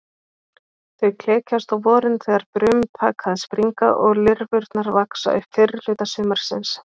Þau klekjast á vorin þegar brum taka að springa og lirfurnar vaxa upp fyrrihluta sumarsins.